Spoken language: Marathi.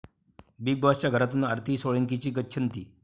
बिग बाॅसच्या घरातून आरती सोळंकीची गच्छंती!